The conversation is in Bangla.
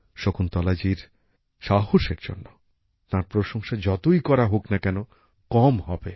শকুন্তলাজির সাহসের জন্য তাঁর প্রশংসা যতই করা হোক না কেন কম হবে